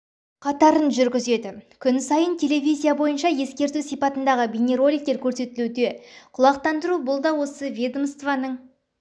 қатарын жүргізеді күн сайын телевизия бойынша ескерту сипатындағы бейнероликтер көрсетілуде құлақтандыру бұл да осы ведомствоның